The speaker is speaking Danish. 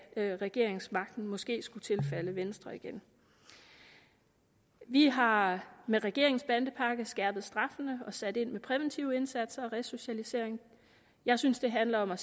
regeringsmagten måske skulle tilfalde venstre igen vi har med regeringens bandepakke skærpet straffene og sat ind med præventive indsatser og resocialisering jeg synes det handler om at